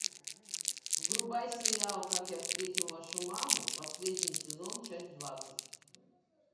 врубай сериал как я встретил вашу маму последний сезон часть двадцать